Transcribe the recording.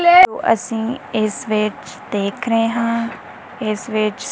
ਅਸੀਂ ਇਸ ਵਿੱਚ ਦੇਖ ਰਹੇ ਹਾਂ ਇਸ ਵਿੱਚ।